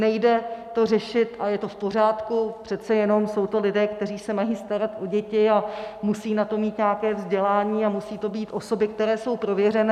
Nejde to řešit, a je to v pořádku, přece jenom jsou to lidé, kteří se mají starat o děti a musí na to mít nějaké vzdělání a musí to být osoby, které jsou prověřené.